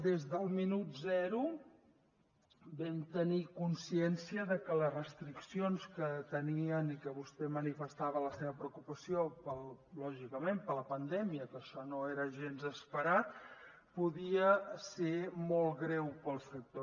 des del minut zero vam tenir consciència de que les restriccions que tenien i que vostè manifestava la seva preocupació lògicament per la pandèmia que això no era gens esperat podien ser molt greus per al sector